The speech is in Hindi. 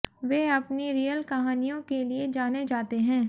वे अपनी रियल कहानियों के लिए जाने जाते हैं